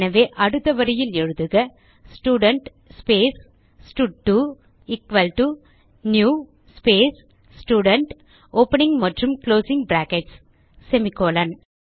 எனவே அடுத்த வரியில் எழுதுக student space stud two equal to new space student opening மற்றும் குளோசிங் பிராக்கெட்ஸ் செமிகோலன்